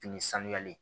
Fini sanuyali